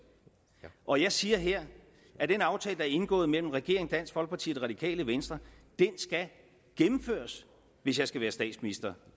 og jeg siger her at den aftale der er indgået mellem regeringen dansk folkeparti og det radikale venstre skal gennemføres hvis jeg skal være statsminister